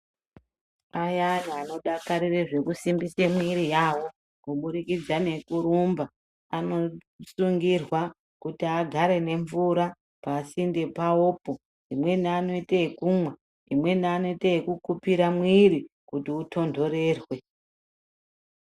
Ayanai anodakarire zvekusimbise mwiri yawo kuburikidza nekurumba anosungirwa kuti agare nemvura pasinte pawopo imweni anoite ekumwa, imweni anoite yekukupira mwiri kuti itondorerwe.